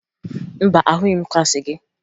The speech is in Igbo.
Mba, ahụghị m klaasị gị